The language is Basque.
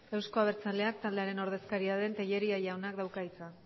euzko abertzaleak taldearen ordezkaria den tellería jaunak dauka hitza